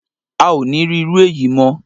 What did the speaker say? A o ní rí irú èyí mọ́